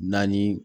Naani